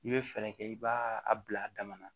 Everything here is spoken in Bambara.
I bɛ fɛɛrɛ kɛ i b'a a bila a dama na